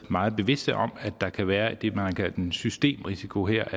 meget bevidste om at der kan være det man har kaldt en systemrisiko her